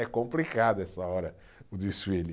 É complicado essa hora, o desfile.